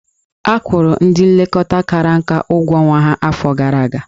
Akwụrụ ndị nlekọta ndị kara nka ụgwọ ọnwa ha afọ gara aga.